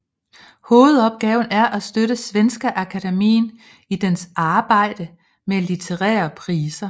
Hovedopgaven er at støtte Svenska Akademien i dets arbejde med litterære priser